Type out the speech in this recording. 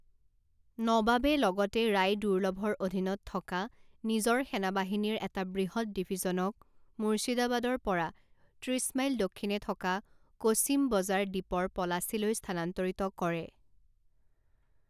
নবাবে লগতে ৰায় দুৰ্লভৰ অধীনত থকা নিজৰ সেনাবাহিনীৰ এটা বৃহৎ ডিভিজনক মুৰ্শিদাবাদৰ পৰা ত্ৰিছ মাইল দক্ষিণে থকা কোছিম বজাৰ দ্বীপৰ পলাচীলৈ স্থানান্তৰিত কৰে।